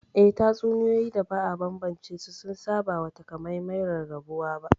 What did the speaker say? Eh, tatsuniyoyi da ba a tantance su sun saba wa takamaiman rarrabuwa ba